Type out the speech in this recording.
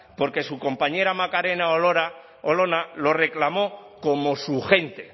porque su compañera macarena olona lo reclamó como su gente